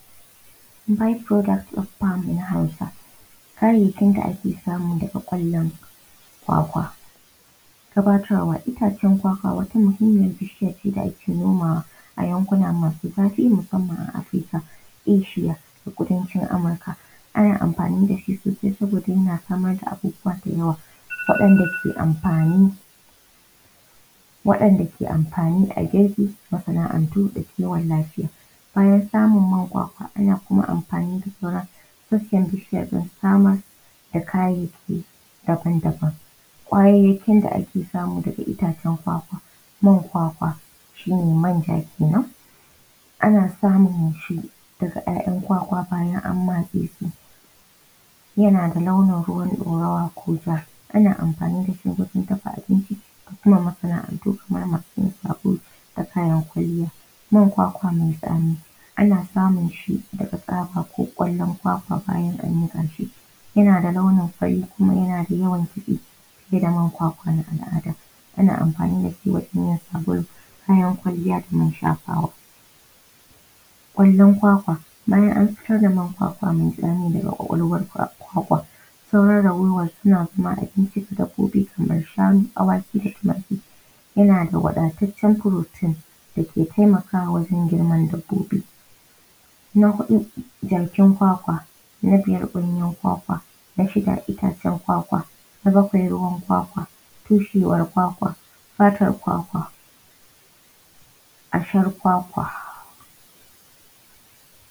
By product of farm in Hausa. Kayayyakin da ake samu daga ƙwallon kwakwa. Gabatarwa: itacen kwakwa wata mahimiyyar bishiya ce da ake nomawa a yankuna masu zafi musamman Afrika, Eshiya, da Kudancin Amurka. Ana amfani da shi sosai saboda yana samar da abubuwa da yawa, waɗanda suke amfani waɗanda suke amfani a gefe, masana’antu da kiwon lafiya. Bayan samun man kwakwa ana kuma amfani da sauran sassan bishiyar don samar da kayyaki daban daban. Kayayyakin da ake samu daga itacen kwakwa: man kwakwa, shi ne manja kenan. Ana samunshi daga ƴaƴan kwakwa bayan an matse su, yana da launin ruwan ɗorawa ko ja. Ana amfani da shi wajen dafa abinci da kuma masa’antu, kamar masu yin sabulu da kayan kwalliya. Man kwakwa mai tsami ana samun shi daga kwakwa ko ƙwallon kwakwa bayan an yanka shi, yana da launin fari kuma yana da yawan. Ana amfani da shi wajen yin sabulu, kayan kwalliya da man shafawa. Kwallon kwakwa: bayan an fitar da man kwakwa mai daga ƙwaƙwalwar kwakwa sauran ragowar suna kuma abincin dabbobi kaman shanu, awaki da tumaki. Yana da wadataccen protein da ke taimakawa wajen girman dabbobi. Na huɗu, kwakwa. Na biyar ganyen kwakwa. Na shida itacen kwakwa. Na bakwai ruwan kwakwa, tushiyar kwakwa, fatar kwakwa, kwakwa.